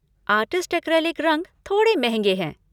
Artist acrylic रंग थोड़े महँगे हैं।